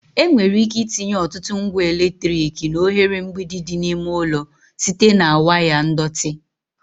Enwere ike itinye ọtụtụ ngwa eletrik na oghere mgbidi dị n'ime ụlọ site na waya ndọtị